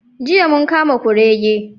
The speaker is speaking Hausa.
Jiya mun kama kurege.